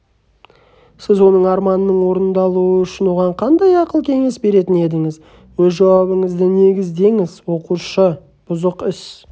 сіз оның арманының орындалуы үшін оған қандай ақыл-кеңес беретін едіңіз өз жауабыңызды негіздеңіз оқушы бұзық іс